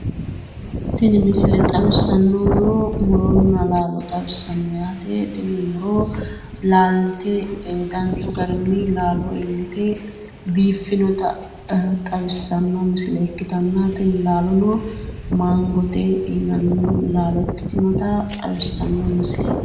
Tini misile xawissannohuno laalonna muro xawissanno yaate tini murono laalte danchu garinni laalo iillite biiffinota xawissanno misile ikkitanno misileeti tini misileno awukaatote murooti yaate